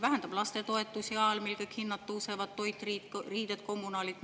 Vähendab lastetoetusi ajal, mil kõik hinnad tõusevad – toit, riided, kommunaalid.